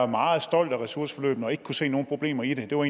meget stolt af ressourceforløbene og ikke kunne se nogen problemer i det det var